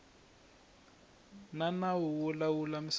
xa nawu wo lawula misava